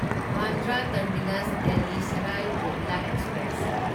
Bandra terminus Delhi Sarai Rohilla express